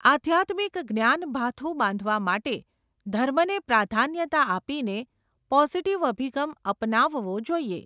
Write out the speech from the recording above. આઘ્યાત્મિક જ્ઞાનભાથુ બાંધવા માટે, ધર્મને પ્રાધાન્યતા આપીને, પોઝિટીવ અભિગમ અપનાવવો જોઈએ.